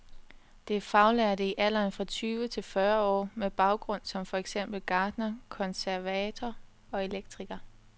Det er faglærte i alderen fra tyve til fyrre år med baggrund som for eksempel gartner, konservator og elektriker.